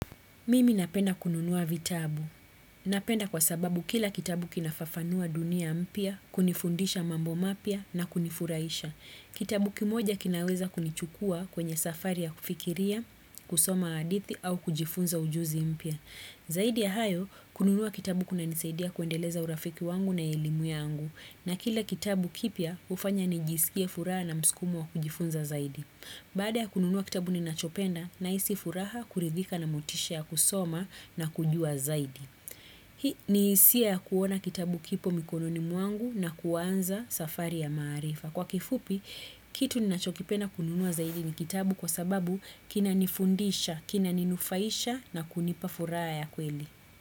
Mimi napenda kununuwa vitabu. Napenda kwa sababu kila kitabu kinafafanua dunia mpya, kunifundisha mambo mapya na kunifurahisha. Kitabu kimoja kinaweza kunichukua kwenye safari ya kufikiria, kusoma hadithi au kujifunza ujuzi mpya. Zaidi ya hayo, kununuwa kitabu kuna nisaidia kuendeleza urafiki wangu na elimu yangu. Na kila kitabu kipya hufanya nijisikie furaha na msukumo wa kujifunza zaidi. Baada ya kununuwa kitabu ni nachopenda nahisi furaha kuridhika na motisha ya kusoma na kujua zaidi. Hii ni hisia ya kuona kitabu kipo mikononi mwangu na kuwanza safari ya maarifa. Kwa kifupi, kitu ni nachokipenda kununuwa zaidi ni kitabu kwa sababu kina nifundisha, kina ninufaisha na kunipa furaha ya kweli.